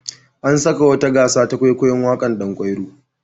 An saka wata gasa ta kwaikwayon waƙar Ɗan kwairo.